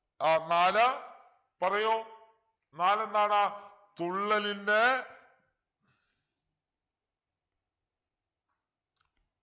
ആഹ് നാല് പറയു നാലെന്താണ് തുള്ളലിൻ്റെ